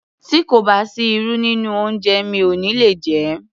Tí kò bá sí irú nínú oúnjẹ mi ò ní le jé.